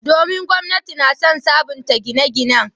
Domin, gwamnati na son sabunta gine-ginen.